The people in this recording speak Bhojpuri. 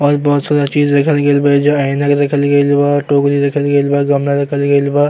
और बहुत सारा चीज रखल गइल बा एइजा ऐनक रखल गइल बा टोकरी रखल गइल बा गमला रखल गइल बा।